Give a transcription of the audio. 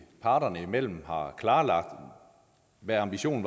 parterne imellem har klarlagt hvad ambitionen